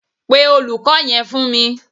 Pe Olùkó yẹn fún mi.